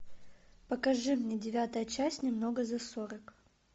покажи мне девятая часть немного за сорок